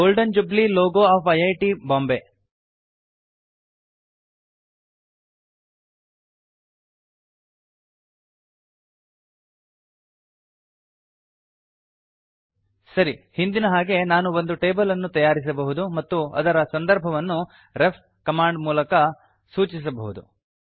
golden jubilee logo of IIT Bombay ಸರಿ ಹಿಂದಿನ ಹಾಗೆ ನಾನು ಒಂದು ಟೇಬಲ್ ಅನ್ನು ತಯಾರಿಸಬಹುದು ಮತ್ತು ಅದರ ಸಂದರ್ಭವನ್ನು ರೆಫ್ ಕಮಾಂಡ್ ಬಳಸಿ ಸೂಚಿಸಬಹುದು